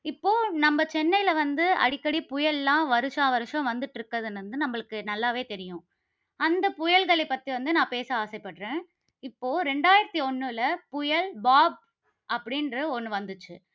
இப்போ நம்ம சென்னையில வந்து அடிக்கடி புயல்லாம் வருஷா வருஷம் வந்துட்டு இருக்கிறது வந்து நம்மளுக்கு நல்லாவே தெரியும். அந்த புயல்களை பற்றி வந்து நான் பேச ஆசைப்படுகிறேன். இப்போ இரண்டாயிரத்து ஒண்ணுல புயல் பாப் அப்படின்ற ஒண்ணு வந்துச்சு